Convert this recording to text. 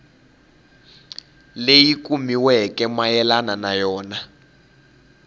leyi kumiweke mayelana na yona